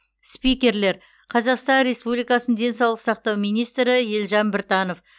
спикерлер қазақстан республикасының денсаулық сақтау министрі елжан біртанов